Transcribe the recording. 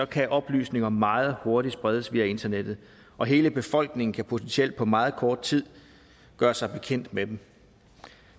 kan oplysninger meget hurtigt spredes via internettet og hele befolkningen kan potentielt på meget kort tid gøre sig bekendt med dem